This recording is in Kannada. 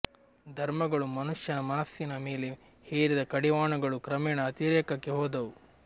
ಧರ್ಮಗಳು ಮನುಷ್ಯನ ಮನಸ್ಸಿನ ಮೇಲೆ ಹೇರಿದ ಕಡಿವಾಣಗಳು ಕ್ರಮೇಣ ಅತಿರೇಕಕ್ಕೆ ಹೋದವು